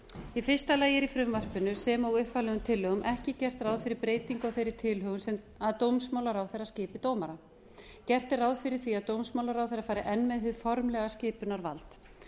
í fyrsta lagi er í frumvarpinu sem og upphaflegum tillögum ekki gert ráð fyrir breytingu á þeirri tilhögun sem að dómsmálaráðherra skipi dómara gert er ráð fyrir því að dómsmálaráðherra fari enn með hið formlega skipunarvald